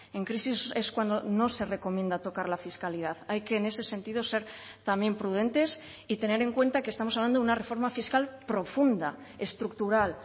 en crisis es cuando no se recomienda tocar la fiscalidad hay que en ese sentido ser también prudentes y tener en cuenta que estamos hablando de una reforma fiscal profunda estructural